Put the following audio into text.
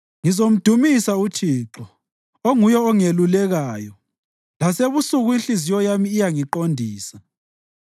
Ngizamdumisa uThixo, onguye ongelulekayo; lasebusuku inhliziyo yami iyangiqondisa.